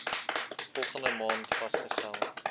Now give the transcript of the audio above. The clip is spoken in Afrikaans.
volgende maand vasgestel